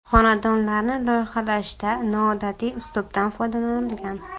Xonadonlarni loyihalashda noodatiy uslubdan foydalanilgan.